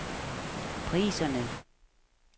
priserne